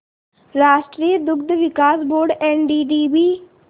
राष्ट्रीय दुग्ध विकास बोर्ड एनडीडीबी